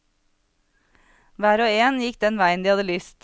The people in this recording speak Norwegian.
Hver og en gikk den veien de hadde lyst.